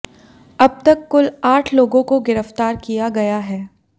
अब तक कुल आठ लोगों को गिरफ्तार किया गया है